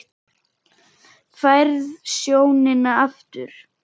Færð sjónina aftur.